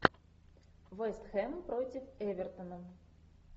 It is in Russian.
вест хэм против эвертона